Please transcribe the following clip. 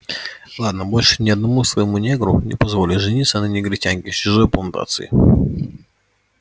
ладно больше ни одному своему негру не позволю жениться на негритянке с чужой плантации